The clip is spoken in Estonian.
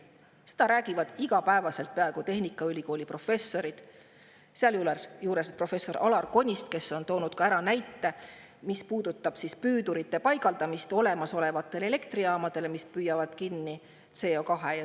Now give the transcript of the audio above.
Seda räägivad peaaegu igapäevaselt tehnikaülikooli professorid, sealhulgas professor Alar Konist, kes on toonud ka näite, mis puudutab olemasolevatele elektrijaamadele püüdurite paigaldamist, mis püüavad kinni CO2.